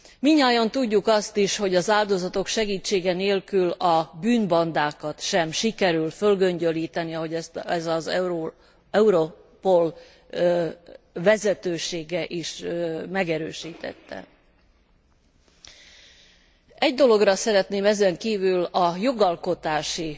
Mindnyájan tudjuk azt is, hogy az áldozatok segítsége nélkül a bűnbandákat sem sikerül fölgöngyölíteni, ahogy ezt az Europol vezetősége is megerősítette. Egy dologra szeretném ezen kívül a jogalkotási